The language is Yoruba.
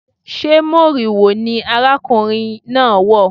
Sé moriwo ni arákùnrin náà wọ̀?